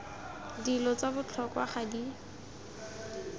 dilo tsa botlhokwa ga di